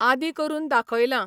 आदी करून दाखयलां